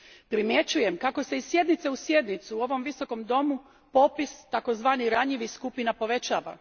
Primjećujem kako se iz sjednice u sjednicu u ovom visokom domu popis takozvanih ranjivih skupina povećava.